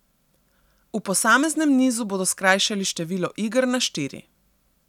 V posameznem nizu bodo skrajšali število iger na štiri.